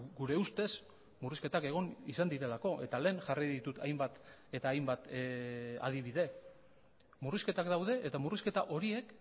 gure ustez murrizketak egon izan direlako eta lehen jarri ditut hainbat eta hainbat adibide murrizketak daude eta murrizketa horiek